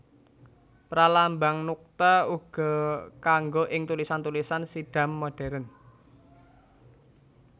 Pralambang nuqta uga kanggo ing tulisan tulisan Siddham modhèren